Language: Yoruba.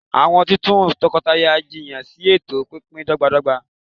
awọn titun tọkọtaya jiyan si eto pínpín dọgbadọgba